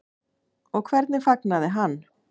Og hvernig fagnaði hann?